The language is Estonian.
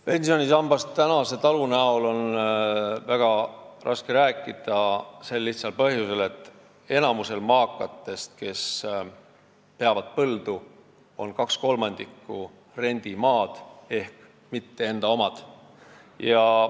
Pensionisambast talu kujul on väga raske rääkida sel lihtsal põhjusel, et enamikul maakatest, kes peavad põldu, on 2/3 rendimaad ehk see pole nende oma.